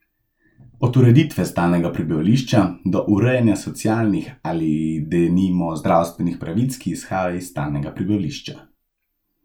Od ureditve stalnega prebivališča, do urejanja socialnih ali denimo zdravstvenih pravic, ki izhajajo iz stalnega prebivališča.